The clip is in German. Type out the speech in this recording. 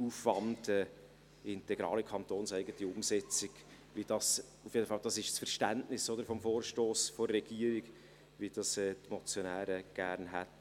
Aufwand eine integrale kantonseigene Umsetzung ... wie das – auf jeden Fall versteht die Regierung den Vorstoss so – die Motionäre gerne hätten.